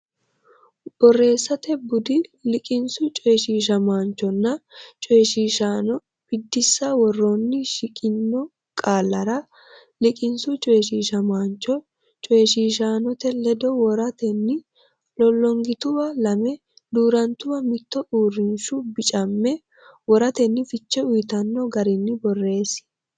Borreessate Bude: Liqinsu Coyshiishamaanchonna Coyshiishaano Biddissa Woroonni shiqqino qaallara liqinsu coyshiishamaancho coyshiishaanote ledo woratenni lollongituwa lame duu’rantuwa mitte uurrinshu bicamme wortanni fiche uyitanno garinni borreessi.